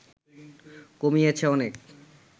কমিয়েছে অনেক